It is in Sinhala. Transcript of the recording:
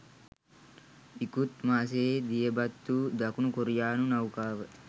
ඉකුත් මාසයේ දියබත්වූ දකුණු කොරියානු නෞකාව